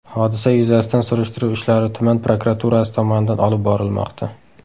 Hodisa yuzasidan surishtiruv ishlari tuman prokuraturasi tomonidan olib borilmoqda.